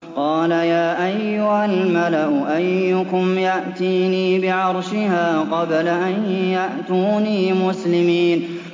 قَالَ يَا أَيُّهَا الْمَلَأُ أَيُّكُمْ يَأْتِينِي بِعَرْشِهَا قَبْلَ أَن يَأْتُونِي مُسْلِمِينَ